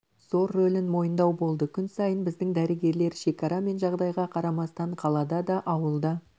зор рөлін мойындау болды күн сайын біздің дәрігерлер шекара мен жағдайға қарамастан қалада да ауылда